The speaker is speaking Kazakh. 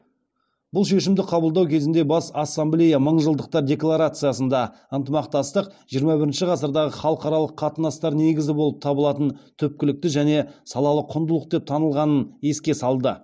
бұл шешімді қабылдау кезінде бас ассамблея мыңжылдықтар декларациясында ынтымақтастық жиырма бірінші ғасырдағы халықаралық қатынастар негізі болып табылатын түпкілікті және салалы құндылық деп танылғанын еске салды